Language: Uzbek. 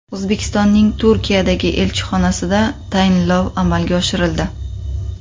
O‘zbekistonning Turkiyadagi elchixonasida tayinlov amalga oshirildi.